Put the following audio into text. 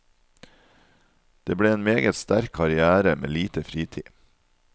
Det ble en meget sterk karrière med lite fritid.